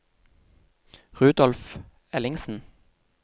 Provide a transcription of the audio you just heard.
Rudolf Ellingsen